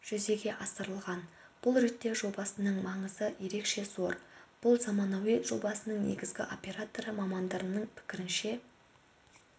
жүзеге асырылған бұл ретте жобасының маңызы ерекше зор бұл заманауи жобаның негізгі операторы мамандарының пікірінше